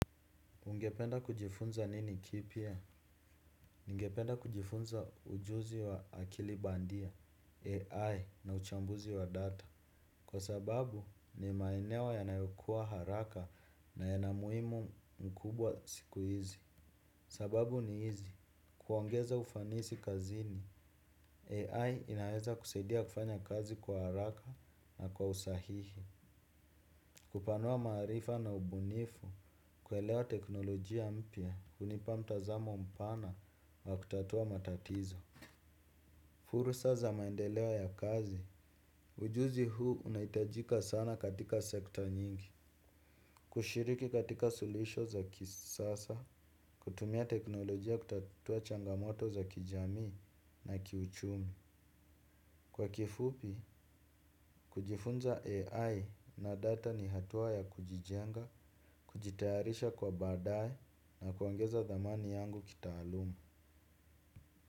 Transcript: Ungependa kujifunza nini kipya? Ningependa kujifunza ujuzi wa akili bandia, AI na uchambuzi wa data. Kwa sababu ni maeneo yanayokua haraka na yana muhimu mkubwa siku hizi. Sababu ni hizi, kuongeza ufanisi kazini, AI inaeza kusaidia kufanya kazi kwa haraka na kwa usahihi. Kupanua maarifa na ubunifu kuelewa teknolojia mpya hunipa mtazamo mpana wa kutatua matatizo. Fursa za maendeleo ya kazi, ujuzi huu unahitajika sana katika sekta nyingi. Kushiriki katika suluhisho za kisasa, kutumia teknolojia kutatua changamoto za kijamii na kiuchumi. Kwa kifupi, kujifunza AI na data ni hatua ya kujijenga, kujitayarisha kwa baadae na kuongeza thamani yangu kitaaluma.